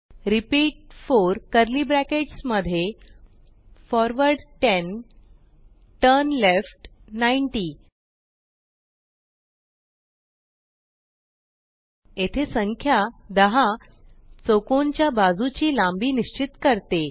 repeat 4 curly brackets मध्ये forward 10 turn left 90 येथे संख्या 10 चौकोनच्या बाजूची लांबी निस्चित करते